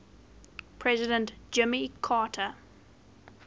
president jimmy carter